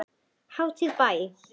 Hátíð í bæ